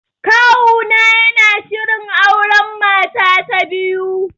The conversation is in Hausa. Kawuna yana shirin auren mata ta biyu